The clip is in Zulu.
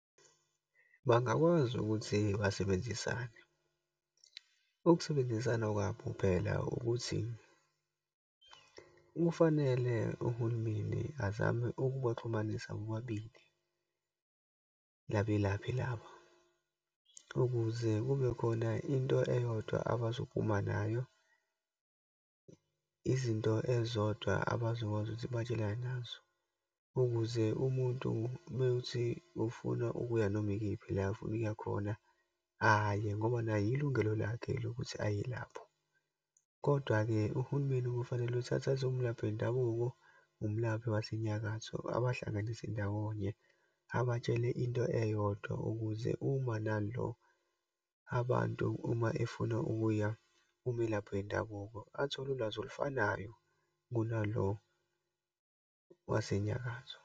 Bangakwazi ukuthi basebenzisane. Ukusebenzisana kwabo phela ukuthi, kufanele uhulumeni azame ukubaxhumanisa bobabili, labelaphi laba, ukuze kubekhona into eyodwa abazophuma nayo. Izinto ezizodwa abazokwazi ukuthi batshelane nazo ukuze umuntu ume uthi ufuna ukuya noma ikephi la ofuna ukuya khona, aye, ngoba naye ilungelo lakhe lokuthi aye lapho. Kodwa-ke uhulumeni kofanele ukuthi athathe umlaphi wendabuko, umlaphi waseNyakatho abahlanganise ndawonye, abatshele into eyodwa, ukuze uma nalo, abantu uma efuna ukuya kumelaphi wendabuko, athole ulwazi olufanayo kunalo waseNyakatho.